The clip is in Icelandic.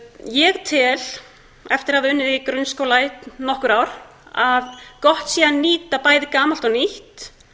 ég tel eftir að hafa unnið í grunnskóla í nokkur ár að gott sé að nýta bæði gamalt og nýtt